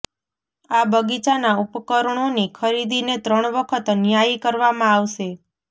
આ બગીચાના ઉપકરણોની ખરીદીને ત્રણ વખત ન્યાયી કરવામાં આવશે